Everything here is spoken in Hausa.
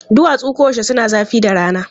Duwatsu koyaushe suna zafi da rana.